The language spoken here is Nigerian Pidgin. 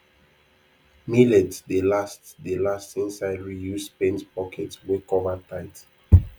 millet dey last dey last inside reused paint bucket wey cover tight